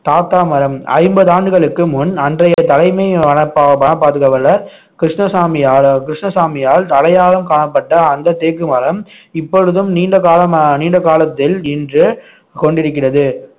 தாத்தா மரம் ஐம்பது ஆண்டுகளுக்கு முன் அன்றைய தலைமை வன பா~ வன பாதுகாவலர் கிருஷ்ணசாமியால கிருஷ்ணசாமியால் தலையாளம் காணப்பட்ட அந்த தேக்கு மரம் இப்பொழுதும் நீண்ட காலமா நீண்ட காலத்தில் இன்று கொண்டிருக்கிறது